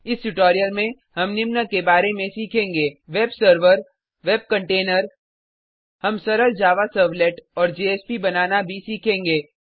इस ट्यूटोरियल में हम निम्न के बारे में सीखेंगे वेब सर्वर वेब कन्टेनर हम सरल जावा सर्वलेट और जेएसपी बनाना भी सीखेंगे